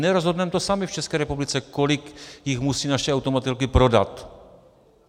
Nerozhodneme to sami v České republice, kolik jich musí naše automobilky prodat.